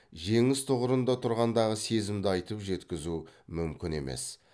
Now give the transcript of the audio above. жеңіс тұғырында тұрғандағы сезімді айтып жеткізу мүмкін емес